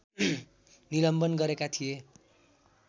निलम्बन गरेका थिए